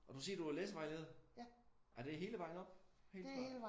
Og du siger du var læsevejleder? Er det hele vejen op? Helt fra